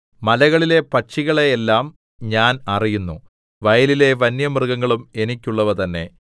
മലകളിലെ പക്ഷികളെ എല്ലാം ഞാൻ അറിയുന്നു വയലിലെ വന്യമൃഗങ്ങളും എനിക്കുള്ളവ തന്നെ